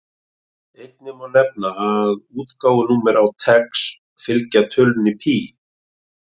Einnig má nefna að útgáfunúmer á TeX fylgja tölunni pí.